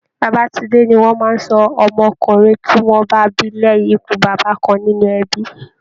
Babatúndé ni wọn máa ń sọ ọmọkùnrin tí wọ́n bá bí lẹ́yìn ikú bàbá kan nínú ẹbi